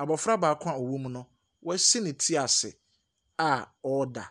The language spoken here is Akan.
Abɔfra baako a ɔwɔ mu no, wasi ne ti ase a ɔreda.